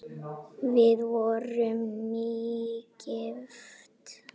Við vorum nýgift!